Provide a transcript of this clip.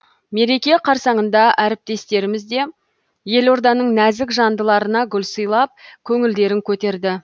мереке қарсаңында әріптестеріміз де елорданың нәзік жандыларына гүл сыйлап көңілдерін көтерді